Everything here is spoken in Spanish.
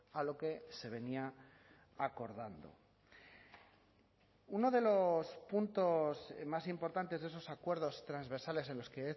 a lo que se venía acordando uno de los puntos más importantes de esos acuerdos transversales en los que